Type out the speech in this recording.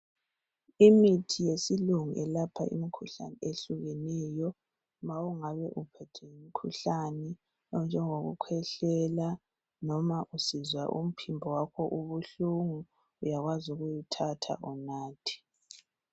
Imithi yesilungu ilapha imikhuhlane ehlukeneyo. Ma ungabe uphethwe ngumkhuhlane onjenge kukwehlela noma usizwa umphimbo wakho ubuhlungu uyakwazi ukuwuthatha unathe.